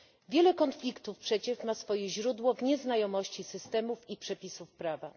Wiele konfliktów przecież ma swoje źródło w nieznajomości systemów i przepisów prawa.